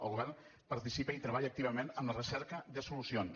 el govern participa i treballa activament en la recerca de solucions